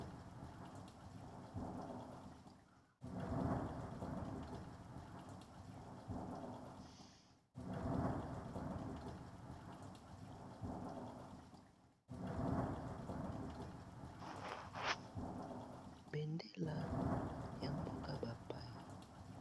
bendela ya mboka bapaya